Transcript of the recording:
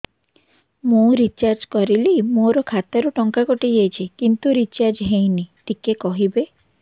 ମୁ ରିଚାର୍ଜ କରିଲି ମୋର ଖାତା ରୁ ଟଙ୍କା କଟି ଯାଇଛି କିନ୍ତୁ ରିଚାର୍ଜ ହେଇନି ଟିକେ କହିବେ